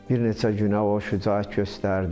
Bir neçə günə o şücaət göstərdi.